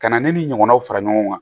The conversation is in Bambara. Ka na ne ni ɲɔgɔnnaw fara ɲɔgɔn kan